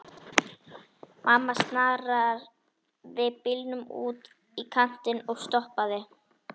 Mamma snaraði bílnum út í kantinn og stoppaði.